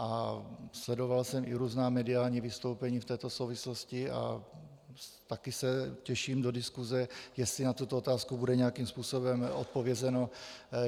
A sledoval jsem i různá mediální vystoupení v této souvislosti a taky se těším do diskuse, jestli na tuto otázku bude nějakým způsobem odpovězeno.